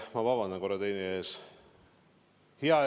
Ma palun korra vabandust!